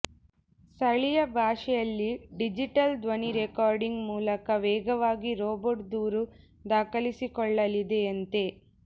ಸ್ಥಳೀಯ ಭಾಷೆಯಲ್ಲಿ ಡಿಜಿಟಲ್ ಧ್ವನಿ ರೆಕಾರ್ಡಿಂಗ್ ಮೂಲಕ ವೇಗವಾಗಿ ರೋಬೋಟ್ ದೂರು ದಾಖಲಿಸಿಕೊಳ್ಳಲಿದೆಯಂತೆ